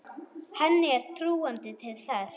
Henni er trúandi til þess.